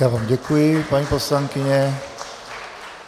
Já vám děkuji, paní poslankyně.